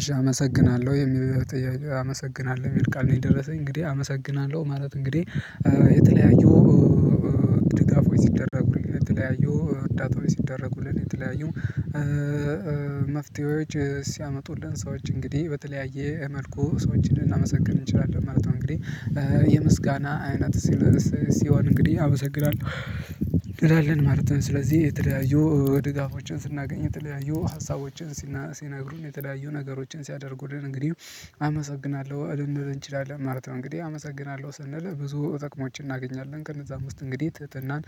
እሽ አመሰግናለሁ። አመሰግናለሁ የሚል ቃል ነው የደረሰኝ። እንግዲህ አመሰግናለሁ ማለት እንግዲህ የተለያዩ ድጋፎች ሲደረጉን፣ የተለያዩ እርዳታዎች ሲደረጉልን፣ የተለያዩ መፍትሄዎች ሲያመጡልን ሰዎች እንግዲህ በተለያየ መልኩ ሰዎችን ልናመሰግን እንችላለን ማለት ነው። እንግዲህ የምስጋና አይነት ሲል ሲሆን እንግዲህ አመሰግናለሁ እንላለን። ማለት ነው። ስለዚህ የተለያዩ ድጋፎችን ስናገኝ የተለያዩ ሀሳቦችን ሲነግሩን የተለያዩ ነገሮችን ሲያደርጉልን እንግዲህ አመሰግናለሁ ልንል እንችላለን ማለት ነው። እንግዲህ አመሰግናለሁ ስንል ብዙ ጥቅሞችን እናገኛለን። ከነዛ ውስጥ እንግዲህ ትህትናን፣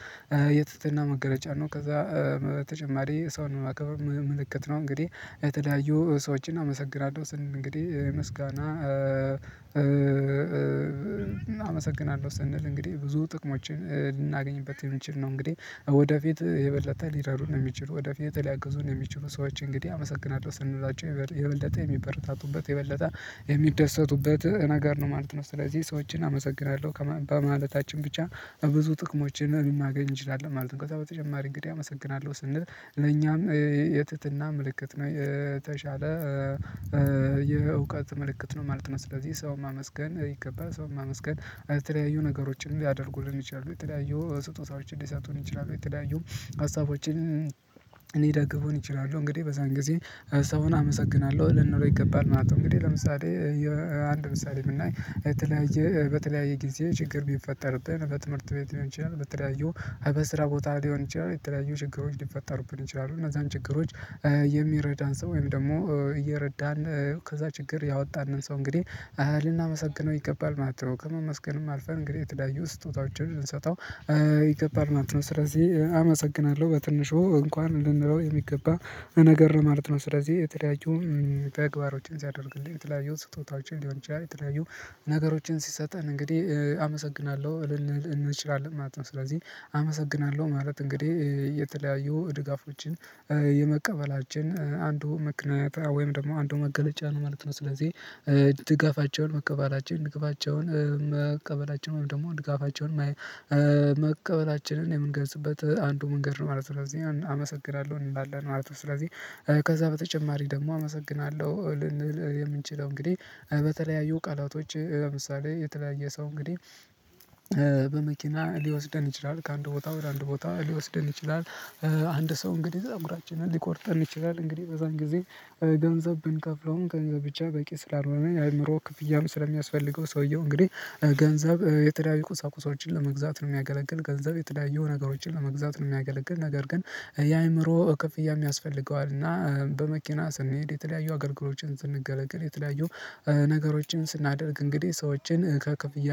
የትህትና መገለጫ ነው። ከዛ በተጨማሪ ሰውን ማክበር ምልክት ነው። እንግዲህ የተለያዩ ሰዎችን አመሰግራለሁ ስንል እንግዲህ ምስጋና አመሰግናለሁ ስንል እንግዲህ ብዙ ጥቅሞችን ልናገኝበት የሚችል ነው። እንግዲህ ወደፊት የበለጠ ሊረዱን የሚችሉ፣ ወደፊት ሊያግዙን የሚችሉ ሰዎች እንግዲህ አመሰግናለሁ ስንላቸው የበለጠ የሚበረታቱበት የበለጠ የሚደሰቱበት ነገር ነው ማለት ነው። ስለዚህ ሰዎችን አመሰግናለሁ በማለታችን ብቻ ብዙ ጥቅሞችን ልናገኝ እንችላለን ማለት ነው። ከዛ በተጨማሪ እንግዲህ አመሰግናለሁ ስንል ለኛም የትህትና ምልክት ነው። የተሻለ የእውቀት መልእክት ነው ማለት ነው። ስለዚህ ሰውን ማመስገን ይገባ። ሰውን ማመስገን የተለያዩ ነገሮችን ሊያደርጉልን ይችላሉ፣ የተለያዩ ስጦታዎችን ሊሰጡን ይችላሉ፣ የተለያዩ ሀሳቦችን ሊደግፉን ይችላሉ። እንግዲህ በዛን ጊዜ ሰውን አመሰግናለሁ ልንለው ይገባል ማለት ነው። እንግዲህ ለምሳሌ አንድ ምሳሌ ብናይ የተለያየ በተለያየ ጊዜ ችግር ቢፈጠርብን በትምህርት ቤት ሊሆን ይችላል፣ በተለያዩ በስራ ቦታ ሊሆን ይችላል፣ የተለያዩ ችግሮች ሊፈጠሩብን ይችላሉ እነዛን ችግሮች የሚረዳን ሰው ወይም ደግሞ እየረዳን ከዛ ችግር ያወጣንን ሰው እንግዲህ ልናመሰግነው ይገባል ማለት ነው። ከማመስገንም አልፈን እንግዲህ የተለያዩ ስጦታዎችን ብንሰጠው ይገባል ማለት ነው። ስለዚህ አመሰግናለሁ በትንሹ እንኳን ልንለው የሚገባ ነገር ማለት ነው። ስለዚህ የተለያዩ ተግባሮችን ሲያደርግልን፣ የተለያዩ ስጦታዎችን ሊሆን ይችላል፣ የተለያዩ ነገሮችን ሲሰጠን እንግዲህ አመሰግናለሁ ልንል እንችላለን ማለት ነው። ስለዚህ አመሰግናለሁ ማለት እንግዲህ የተለያዩ ድጋፎችን የመቀበላችን አንዱ ምክንያት ወይም ደግሞ አንዱ መገለጫ ነው ማለት ነው። ስለዚህ ድጋፋቸውን መቀበላቸውን ድጋፋቸውን መቀበላቸውን ወይም ደግሞ ድጋፋቸውን መቀበላችንን የምንገዝበት አንዱ መንገድ ነው ማለት ነው። ስለዚህ አመሰግናለሁ እንላለን ማለት ነው። ስለዚህ ከዛ በተጨማሪ ደግሞ አመሰግናለሁ ልንል የምንችለው እንግዲህ በተለያዩ ቃላቶች ለምሳሌ የተለያየ ሰው እንግዲህ በመኪና ሊወስደን ይችላል። ከአንድ ቦታ ወደ አንድ ቦታ ሊወስደን ይችላል። አንድ ሰው እንግዲህ ፀጉራችንን ሊቆርጠን ይችላል። እንግዲህ በዛን ጊዜ ገንዘብ ብንከፍለውም ገንዘብ ብቻ በቂ ስላልሆነ የአእምሮ ክፍያም ስለሚያስፈልገው ሰውየው እንግዲህ ገንዘብ የተለያዩ ቁሳቁሳዎችን ለመግዛት ነው የሚያገለግል። ገንዘብ የተለያዩ ነገሮችን ለመግዛት ነው የሚያገለግል። ነገር ግን የአእምሮ ክፍያም ያስፈልገዋል እና በመኪና ስንሄድ የተለያዩ አገልግሎችን ስንገለገል የተለያዩ ነገሮችን ስናደርግ እንግዲህ ሰዎችን ከክፍያ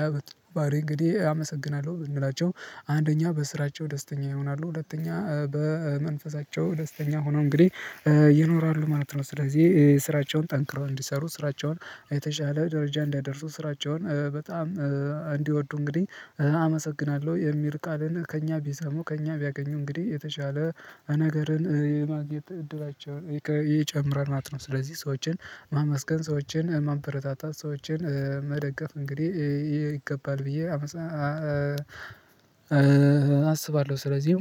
ባህሪ እንግዲህ አመሰግናለሁ ብንላቸው አንደኛ በስራቸው ደስተኛ ይሆናሉ። ሁለተኛ በመንፈሳቸው ደስተኛ ሆነው እንግዲህ ይኖራሉ ማለት ነው። ስለዚህ ስራቸውን ጠንክረው እንዲሰሩ፣ ስራቸውን የተሻለ ደረጃ እንዲያደርሱ፣ ስራቸውን በጣም እንዲወዱ እንግዲህ አመሰግናለሁ የሚል ቃልን ከእኛ ቢሰሙ ከእኛ ቢያገኙ እንግዲህ የተሻለ ነገርን የማግኘት እድላቸውን ይጨምራል ማለት ነው ማለት ነው። ስለዚህ ሰዎችን ማመስገን፣ ሰዎችን ማበረታታት፣ ሰዎችን መደገፍ እንግዲህ ይገባል ብዬ አስባለሁ። ስለዚህ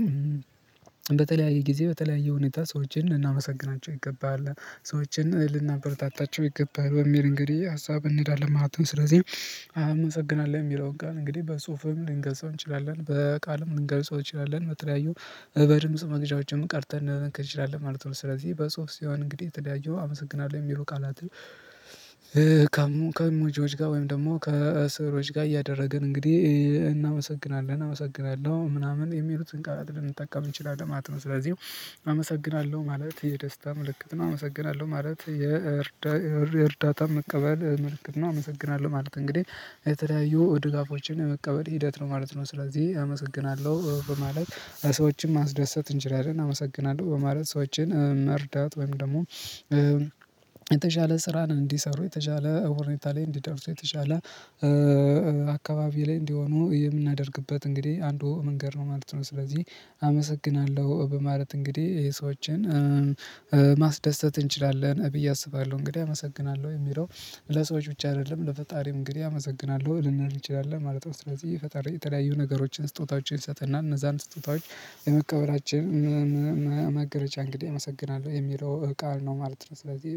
በተለያየ ጊዜ በተለያየ ሁኔታ ሰዎችን ልናመሰግናቸው ይገባሃል። ሰዎችን ልናበረታታቸው ይገባል በሚል እንግዲህ ሀሳብ እንሄዳለን ማለት ነው። ስለዚህ አመሰግናለሁ የሚለውን ጋር እንግዲህ በጽሁፍም ልንገልጸው እንችላለን፣ በቃልም ልንገልጸው እንችላለን። በተለያዩ በድምጽ መቅጃዎችም ቀርጸን ልንልክ እንችላለን ማለት ነው። ስለዚህ በጽሁፍ ሲሆን እንግዲህ ተለያዩ አመሰግናለሁ የሚሉ ቃላት ከእሙጂዎች ጋር ወይም ደግሞ ከስዕሎች ጋር እያደረግን እንግዲህ ባህሪ እንግዲህ አመሰግናለሁ ብንላቸው አንደኛ በስራቸው ደስተኛ ይሆናሉ። ሁለተኛ በመንፈሳቸው ደስተኛ ሆነው እንግዲህ ይኖራሉ ማለት ነው። ስለዚህ ስራቸውን ጠንክረው እንዲሰሩ፣ ስራቸውን የተሻለ ደረጃ እንዲያደርሱ፣ ስራቸውን በጣም በተለያየ ጊዜ በተለያየ ሁኔታ ሰዎችን ልናመሰግናቸው ይገባሃል። ሰዎችን ልናበረታታቸው ይገባል በሚል እንግዲህ ሀሳብ እንሄዳለን ማለት ነው። ስለዚህ አመሰግናለሁ የሚለውን ጋር እንግዲህ በጽሁፍም ልንገልጸው እንችላለን፣ በቃልም ልንገልጸው እንችላለን። በተለያዩ የተሻለ ስራን እንዲሰሩ፣ የተሻለ ሁኔታ ላይ እንዲደርሱ የተሻለ አካባቢ ላይ እንዲሆኑ የምናደርግበት እንግዲህ አንዱ መንገድ ነው ማለት ነው። ስለዚህ አመሰግናለሁ በማለት እንግዲህ ሰዎችን ማስደሰት እንችላለን ብዬ አስባለሁ። እንግዲህ አመሰግናለሁ የሚለው ለሰዎች ብቻ አይደለም። ለፈጣሪም እንግዲህ አመሰግናለሁ ልንል እንችላለን ማለት ነው። ስለዚህ የፈጣሪ የተለያዩ ነገሮችን ስጦታዎችን እንሰጥ እና እነዛን ስጦታዎች የመቀበላችን መገለጫ እንግዲህ አመሰግናለሁ የሚለው ቃል ነው ማለት ነው። ስለዚህ